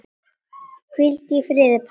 Hvíldu í friði, pabbi minn.